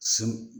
Si